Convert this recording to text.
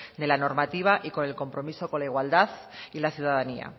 de la normativa y con el compromiso con la igualdad y la ciudadanía